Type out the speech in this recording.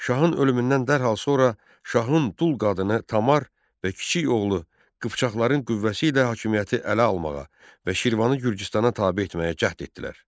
Şahın ölümündən dərhal sonra şahın dul qadını Tamar və kiçik oğlu Qıpçaqların qüvvəsi ilə hakimiyyəti ələ almağa və Şirvanı Gürcüstana tabe etməyə cəhd etdilər.